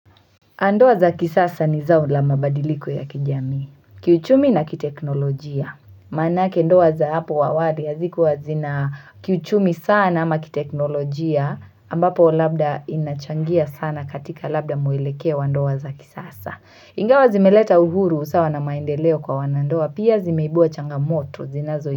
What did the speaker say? Ndoa za kisasa ni zao la mabadiliko ya kijamii Kiuchumi na kiteknolojia Manake ndoa za hapo awali hazikuwa zina kiuchumi sana ama kiteknolojia ambapo labda inachangia sana katika labda mwelekeo wa ndoa za kisasa Ingawa zimeleta uhuru usawa na maendeleo kwa wanandoa pia zimeibua changa moto zinazo.